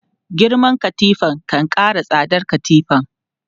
Girman katifa kan kara tsadar katifan.